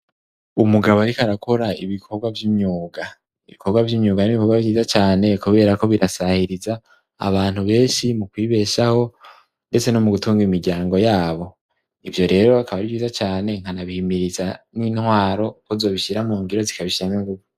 Umugabo ariko arakora ibikorwa vy'imyuga, ibikorwa vy'imyuga n'ibikorwa vyiza cane, kubera ko birasahiriza abantu benshi mu kwibeshaho ndetse no mu gutunga imiryango yabo, ivyo rero bikaba ari vyiza cane, nkanabihimiriza n'intwaro ko zobishira mu ngiro zikabishiramwo inguvu.